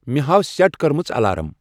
مے ہاو سیٹ کٔرمِتۍ الارام ۔